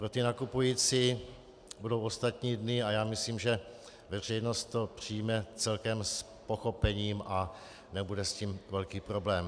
Pro ty nakupující budou ostatní dny a já myslím, že veřejnost to přijme celkem s pochopením a nebude s tím velký problém.